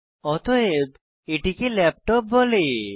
অতএব এটিকে ল্যাপটপ বলা হয়